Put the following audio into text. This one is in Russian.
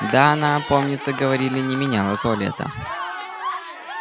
да она помнится говорили не меняла туалета